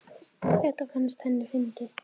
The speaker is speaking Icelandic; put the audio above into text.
Þetta fannst henni fyndið.